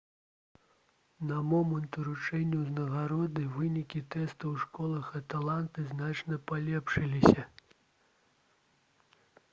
на момант уручэння ўзнагароды вынікі тэстаў у школах атланты значна палепшыліся